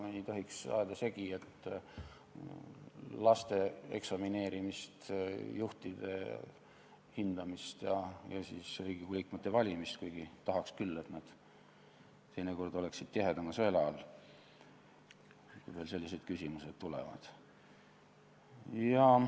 Me ei tohiks ajada segi laste eksamineerimist, juhtide hindamist ja Riigikogu liikmete valimist, kuigi tahaks küll, et teinekord nad oleksid tihedama sõela läbi teinud, kui veel selliseid küsimusi tuleb.